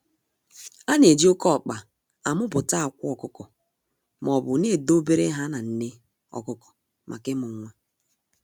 A na-eji oke ọkpa a muputa akwa ọkụkọ maobu na edo bere ha na nne ọkụkọ maka ịmu nwa.